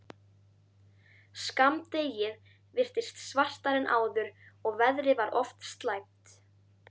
Skammdegið virtist svartara en áður og veðrið var oft slæmt.